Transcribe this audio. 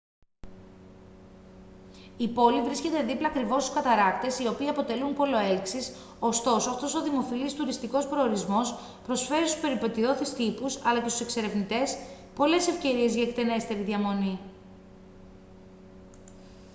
η πόλη βρίσκεται δίπλα ακριβώς στους καταρράκτες οι οποίοι αποτελούν πόλο έλξης ωστόσο αυτός ο δημοφιλής τουριστικός προορισμός προσφέρει στους περιπετειώδεις τύπους αλλά και στους εξερευνητές πολλές ευκαιρίες για εκτενέστερη διαμονή